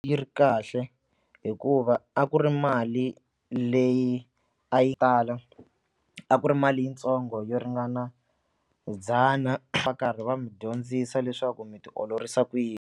Yi ri kahle hikuva a ku ri mali leyi a yi a ku ri mali yintsongo yo ringana ndzhana va karhi va mi dyondzisa leswaku mi tiolorisa ku yini.